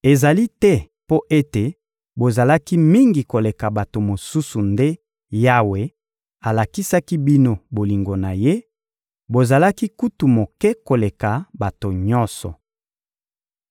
Ezali te mpo ete bozalaki mingi koleka bato mosusu nde Yawe alakisaki bino bolingo na Ye, bozalaki kutu moke koleka bato nyonso.